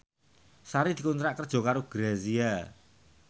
Sari dikontrak kerja karo Grazia